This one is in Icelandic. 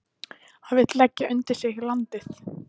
Hann vill leggja undir sig landið.